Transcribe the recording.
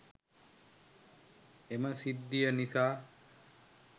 එම සිද්ධිය නිසා